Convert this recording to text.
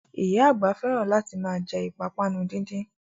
Oya àgbà fẹ́ràn láti ma jẹ́ ìpápánu díndín